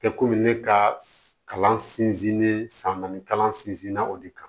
Tɛ komi ne ka kalan sinsinnen san naani kalan sinzina o de kan